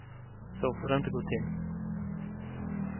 Så får det inte gå till.